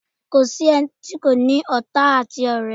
Kò sí ẹni tí kò ní ọ̀tá àti ọ̀rẹ́.